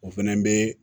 O fɛnɛ be